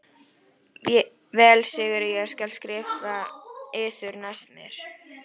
Vel Sigurður ég skal skrifa yður næst meir.